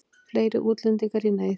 Fleiri útlendingar í neyð